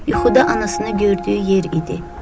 Yuxuda anasını gördüyü yer idi.